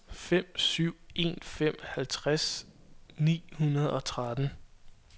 fem syv en fem halvtreds ni hundrede og tretten